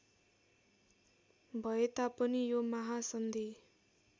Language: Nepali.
भए तापनि यो महासन्धि